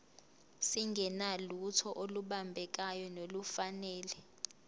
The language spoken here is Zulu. singenalutho olubambekayo nolufanele